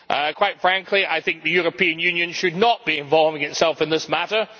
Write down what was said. Quite frankly, I think the European Union should not be involving itself in this matter.